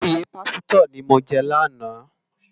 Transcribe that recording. Óyè pàsitò ni mó jè làná